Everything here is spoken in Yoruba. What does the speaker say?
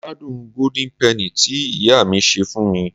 mo gbádùn golden penny ti iya mi ṣe fún mi